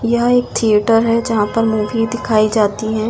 यहां एक थिएटर है जहां पर मूवी दिखाई जाती है।